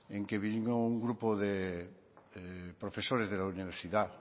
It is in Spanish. en que vino un grupo de profesores de la universidad